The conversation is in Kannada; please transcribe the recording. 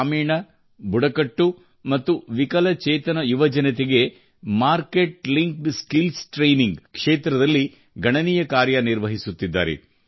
ಗ್ರಾಮೀಣ ಬುಡಕಟ್ಟು ಮತ್ತು ವಿಕಲಚೇತನ ಯುವಜನತೆಗೆ ಮಾರ್ಕೆಟ್ ಲಿಂಕ್ಡ್ ಸ್ಕಿಲ್ಸ್ ಟ್ರೇನಿಂಗ್ ಕ್ಷೇತ್ರದಲ್ಲಿ ಗಣನೀಯ ಕಾರ್ಯ ನಿರ್ವಹಿಸುತ್ತಿದ್ದಾರೆ